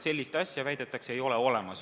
Sellist asja, väidetakse, ei ole olemas.